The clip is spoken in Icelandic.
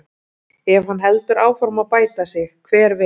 Ef hann heldur áfram að bæta sig, hver veit?